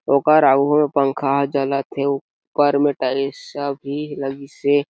ओकर आगू में पंखा हे जलत हे ऊपर में टाइल्स सब भी लगिस हे।